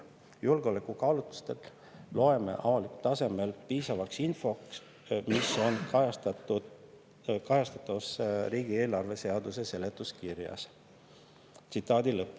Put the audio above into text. Julgeolekukaalutlustel loeme avalikult tasemel piisavaks infot, mis on kajastatus riigieelarve seaduse seletuskirjas.